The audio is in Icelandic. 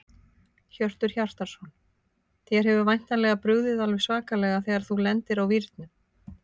Hjörtur Hjartarson: Þér hefur væntanlega brugðið alveg svakalega þegar þú lendir á vírnum?